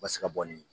U ka se ka bɔ nin